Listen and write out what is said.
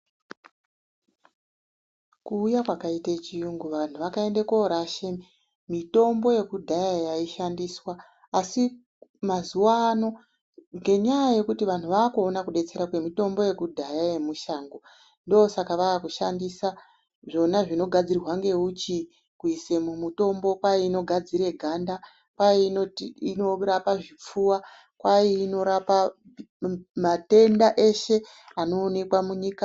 Kuuya kwakaita chiyungu vanthu vakaende koorashe mitombo yekudhaya yaishandiswa. Asi mazuwa ano ngenyaya yekuti vanthu vaakuona kudetsera kwemitombo yekudhaya yemushango, ndosaka vakushandisa zvona zvinogadzirwa ngeuchi. Kuise mumitombo kwai inogadzira ganda, kwai inorapa zvipfuva, kwai inorapa matenda eshe anoonekwa munyika.